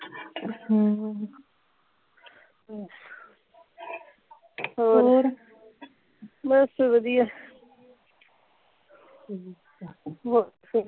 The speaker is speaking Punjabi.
ਹਮ ਹੋਰ ਬਸ ਵਧੀਆ